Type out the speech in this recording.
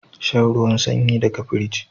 Shan ruwan sanyi daga firij